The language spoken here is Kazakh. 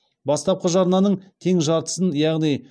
бастапқы жарнаның тең жартысын яғни